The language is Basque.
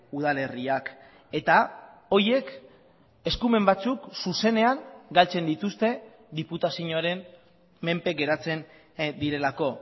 udalerriak eta horiek eskumen batzuk zuzenean galtzen dituzte diputazioaren menpe geratzen direlako